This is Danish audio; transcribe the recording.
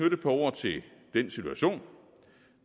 et par ord til den situation